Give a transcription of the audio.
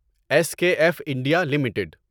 S K F India limited